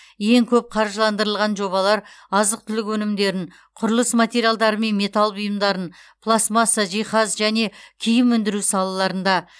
ең көп қаржыландырылған жобалар азық түлік өнімдерін құрылыс материалдары мен металл бұйымдарын пластмасса жиһаз және киім өндіру салаларында